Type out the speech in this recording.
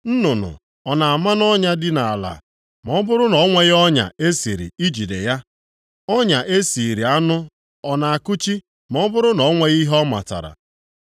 Nnụnụ ọ na-ama nʼọnya dị nʼala ma ọ bụrụ na o nweghị ọnya e siri ijide ya? Ọnya e siiri anụ ọ na-akụchi ma ọ bụrụ na o nweghị ihe ọ matara?